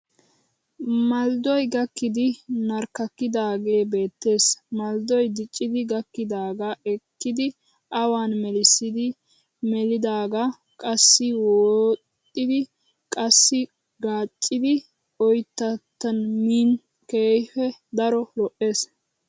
Malddoy gakkidi narkkakkidaagee beettees. Malddoy diccidi gakkidaagaa ekkidi awan melissidi melidaagaa qassi woxxiiddi qassi gaacidi oyittattan min keehippe daro lo'ees.